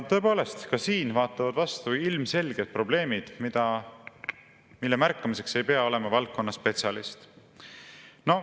Tõepoolest, ka siin vaatavad vastu ilmselged probleemid, mille märkamiseks ei pea olema valdkonna spetsialist.